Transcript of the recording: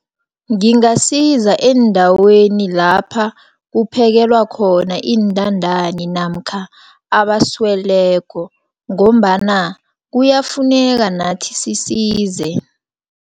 Ngingasiza eendaweni lapha kuphekelwa khona intandani, namkha abasweleko, ngombana kuyafuneka nathi sisize.